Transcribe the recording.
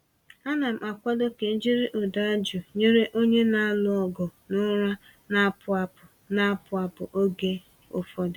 Ana m akwado ka e jiri ụda jụụ nyere onye na-alụ ọgụ na ụra na-apụ apụ na-apụ apụ oge ụfọdụ.